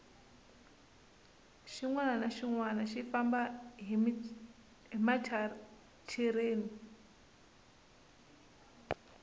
xinwani na xinwani xi famba hi machereni